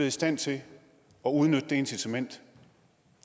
i stand til at udnytte det incitament